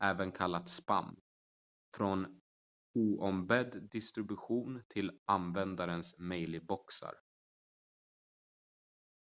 även kallat spam från oombedd distribution till användares mejlboxar